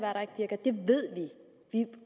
ved vi